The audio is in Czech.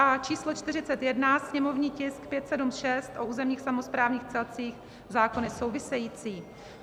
A číslo 41, sněmovní tisk 576, o územních samosprávných celcích, zákony související.